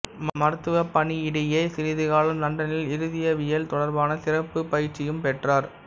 மருத்துவ பணியிடையே சிறிது காலம் லண்டனில் இருதயவியல் தொடர்பான சிறப்புப் பயிற்சியும் பெற்றார்